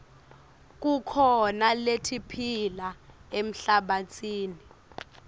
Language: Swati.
kukhona letiphila emhlabatsini